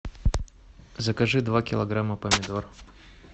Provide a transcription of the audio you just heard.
закажи два килограмма помидор